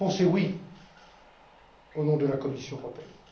Ma réponse est oui, au nom de la Commission européenne.